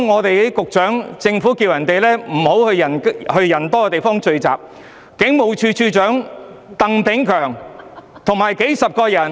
還有，局長呼籲市民不要到人多的地方聚集，但警務處處長鄧炳強卻與數十人聚餐。